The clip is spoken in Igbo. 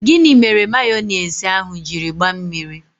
Gịnị mere mayonise ahụ jiri gbaa mmiri?